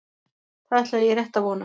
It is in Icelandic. Það ætla ég rétt að vona